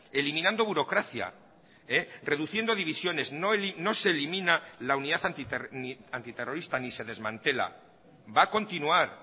eliminando burocracia reduciendo divisiones no se elimina la unidad antiterrorista ni se desmantela va a continuar